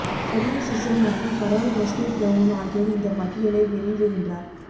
Shirley Chisholm மற்றும் Carol Moseley Braun ஆகியோர் இந்த பட்டியலை வெளியிடுகின்றனர்